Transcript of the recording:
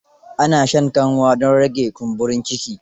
Ana shan kanwa don rage kumburin ciki.